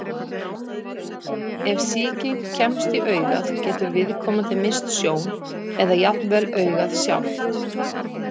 Ef sýking kemst í augað getur viðkomandi misst sjón, eða jafnvel augað sjálft.